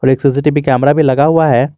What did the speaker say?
एक CCTV camera भी लगा हुआ है।